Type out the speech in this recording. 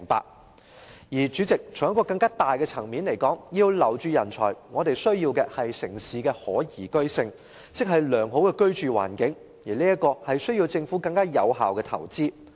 代理主席，在更大的層面來說，要留住人才，我們需要的是城市的可宜居性，即良好的居住環境，這需要政府作出更有效的投資。